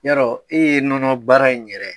I y'a dɔn e ye nɔnɔ baara in yɛrɛ